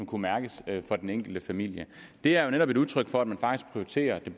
kunne mærkes for den enkelte familie det er jo netop et udtryk for at man faktisk prioriterer det